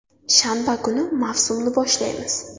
Shanba kuni mavsumni boshlaymiz.